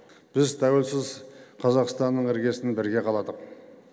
біз тәуелсіз қазақстанның іргесін бірге қаладық